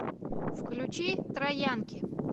включи троянки